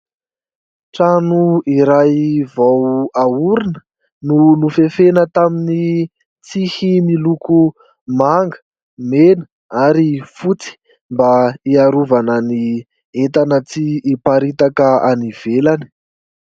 Trano iray vao aorina no nofefena tamin'ny tsihy miloko manga, mena ary fotsy ; mba hiarovana ny entana tsy hiparitaka any ivelany.